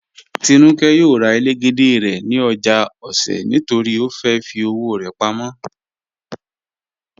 Tínúkẹ́ yóò rà ẹlẹ́gẹ̀dẹ̀ rẹ̀ ni ojá Òṣè̀ nítorí ó fẹ́ fì ọwọ̀ rẹ̀ pámọ̀.